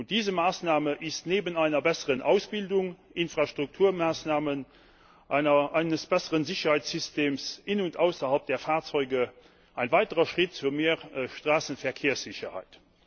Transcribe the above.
Diese Maßnahme ist neben einer besseren Ausbildung, Infrastrukturmaßnahmen und einem besseren Sicherheitssystem innerhalb und außerhalb der Fahrzeuge ein weiterer Schritt zu mehr Straßenverkehrssicherheit.